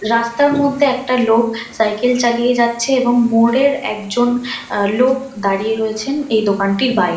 রাস্তার মধ্যে একটা লোক সাইকেল চালিয়ে যাচ্ছে এবং মোড়ের একজন লোক দাঁড়িতে রয়েছেন এই দোকানটির বাই --